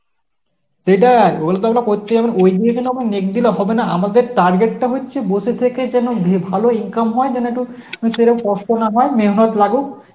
সেটাই ওগুলো তো আমরা করতে হবে ওইগুলো তে আমরা knack দিলে হবে না আমাদের target টা হচ্ছে বসে থেকে যেন উম ভালো ইনকাম হয় যেন একটু কষ্ট না হয় মেহনত লাগুক